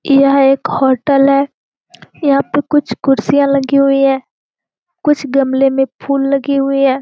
यह एक होटल है। यहाँ पे कुछ कुर्सीयाँ लगी हुई है। कुछ गमले में फूल लगे हुई है।